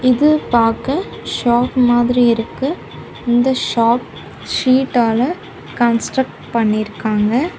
இது பாக்க ஷாப் மாதிரி இருக்கு. இந்த ஷாப் ஷீட்டால கன்ஸ்ட்ரக்ட் பண்ணிருக்காங்க.